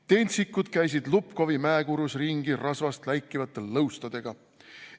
Tentsikud käisid Łubkówi mäekurus ringi rasvast läikivate lõustadega.